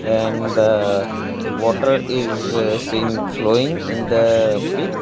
and the water is seen flowing in the pic .